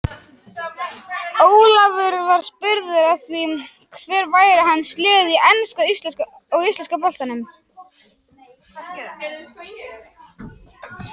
Ólafur var spurður að því hver væru hans lið í enska og íslenska boltanum.